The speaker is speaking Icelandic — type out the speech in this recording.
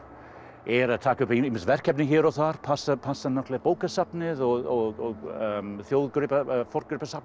er að taka ýmis verkefni hér og þar passa passa bókasafnið og